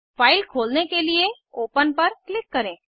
file खोलने के लिए ओपन पर क्लिक करें